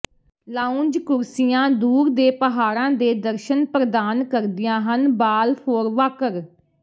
lounge ਕੁਰਸੀਆਂ ਦੂਰ ਦੇ ਪਹਾੜਾਂ ਦੇ ਦਰਸ਼ਨ ਪ੍ਰਦਾਨ ਕਰਦੀਆਂ ਹਨ ਬਾਲਫੋਰ ਵਾਕਰ